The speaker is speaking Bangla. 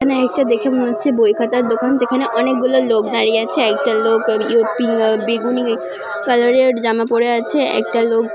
এখানে একটা দেখে মনে হচ্ছে বই খাতার দোকান যেখানে অনেকগুলো লোক দাঁড়িয়ে আছে একটা লোক ইউপিং আ্য বেগুনি কালার -এর জামা পড়ে আছে একটা লোক--